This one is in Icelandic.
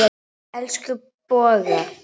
Elsku Bogga.